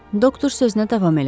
Doktor sözünə davam elədi.